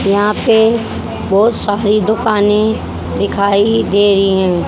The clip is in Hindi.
यहां पे बहोत सारी दुकानें दिखाई दे रही हैं।